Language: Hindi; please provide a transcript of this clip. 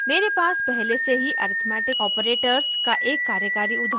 मेरे पास पहले से ही arithmetic operators का एक कार्यकारी उदाहरण है